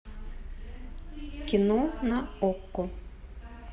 кино на окко